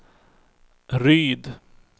Ryd